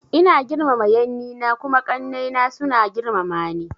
Ina girmama yanni na kuma ƙanai na suna girmama ni.